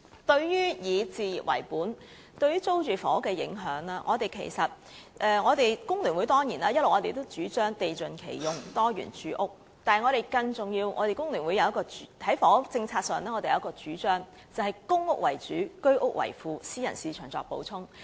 關於以置業為本對租住房屋的影響，雖然工聯會主張"地盡其用，多元住屋"，但我們在房屋政策上有一項更重要的主張，便是公屋為主，居屋為輔，私人市場作補充。